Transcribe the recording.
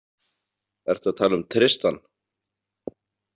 Ertu að tala um Tristan?